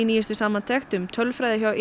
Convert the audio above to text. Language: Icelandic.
nýjustu samantekt um tölfræði hjá